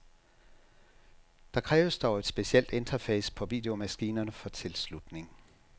Der kræves dog et specielt interface på videomaskinerne for tilslutning.